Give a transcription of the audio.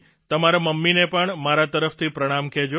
તમારા મમ્મીને પણ મારા તરફથી પ્રણામ કહેજો